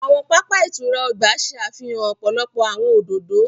Awọn papa ìtura ọgba ṣe àfihàn ọpọlọpọ awọn òdodo.